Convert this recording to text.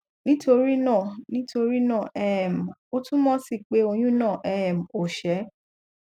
nítorí náà nítorí náà um ó túmọ sí peh oyun náà um ò ṣé